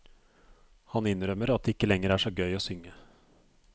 Han innrømmer at det ikke lenger er så gøy å synge.